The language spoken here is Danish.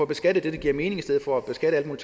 beskatte det der giver mening i stedet for at beskatte alle